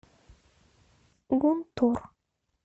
гунтур